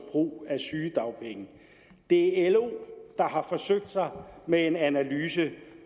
brug af sygedagpenge det er lo der har forsøgt sig med en analyse